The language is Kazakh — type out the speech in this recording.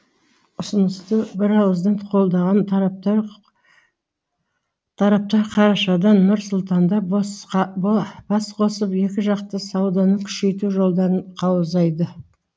ұсынысты бірауыздан қолдаған тараптар қарашада нұр сұлтанда басқосып екіжақты сауданы күшейту жолдарын қаузайды